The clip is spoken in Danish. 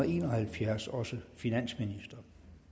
en og halvfjerds også finansminister